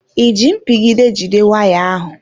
I ji mpigide jide waya ahụ?